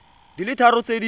di le tharo tse di